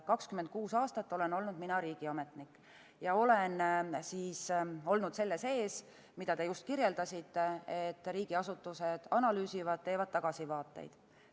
26 aastat olen olnud riigiametnik ja olen olnud selle sees, mida te just kirjeldasite, kus riigiasutused analüüsivad, teevad tagasivaateid.